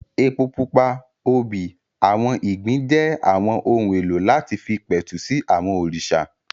Epo pupa, obì, àwọn ìgbín jẹ́ àwọn ohun èlò láti fi pẹ̀tù sí àwọn òrìṣà